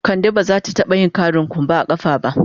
Ka de ba za ta taba yin ƙarin kumba a kafa ba.